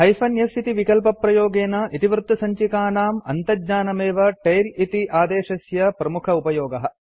hyphen f इति विकल्पप्रयोगेन इतिवृत्तसञ्चिकानां अन्तज्ञानमेव टेल इति आदेशस्य प्रमुखोपयोगः